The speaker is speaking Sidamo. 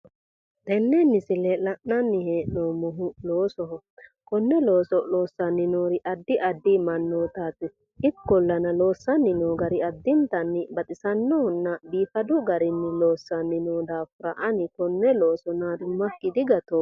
Tenne misile la'nanni hee'noommohu loosoho konne looso loossanni noori addi addi mannootaati ikkollana loossanni noo gari addintanni baxisannohonna biifadu garinni loossanni noo daafira ani konne looso naadummakki digatoomma